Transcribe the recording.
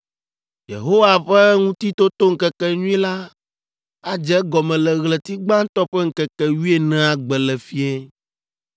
Yehowa Ƒe Ŋutitotoŋkekenyui la adze egɔme le ɣleti gbãtɔ ƒe ŋkeke wuienea gbe le fiẽ.